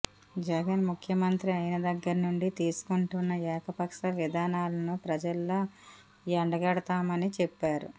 జగన్ ముఖ్యమంత్రి అయిన దగ్గర నుండి తీసుకుంటున్న ఏకపక్ష విధానాలను ప్రజల్లో ఎండగడతామని చెప్పారు